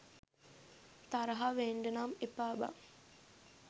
තරහ වෙන්ඩනම් එපා බන්